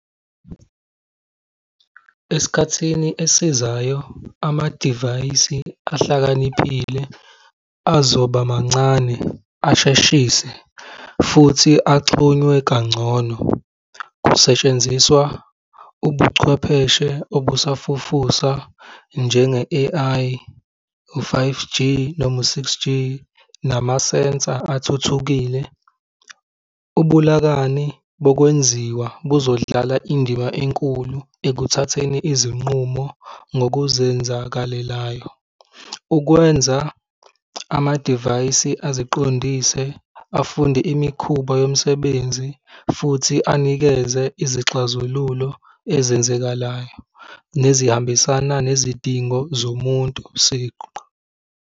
Esikhathini esizayo, amadivayisi ahlakaniphile azoba mancane asheshise futhi axhunywe kangcono. Kusetshenziswa ubuchwepheshe obusafufusa, njenge-A_I, u-five G noma u-six G, namasensa athuthukile. Ubulakani bokwenziwa buzodlala indima enkulu ekuthatheni izinqumo ngokuzenzakalelayo. Ukwenza amadivayisi eziqondise afunde imikhuba yomsebenzi, futhi anikeze izixazululo ezenzekalayo nezihambisana nezidingo zomuntu siqu.